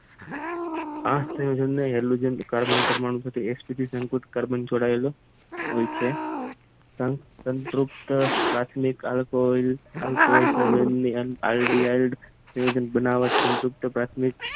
આમ કાર્બન પરમાણુ ચડાવેલી હોય છે આમ તતૃપ્ત